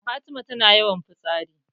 Fatima tana yawan fitsari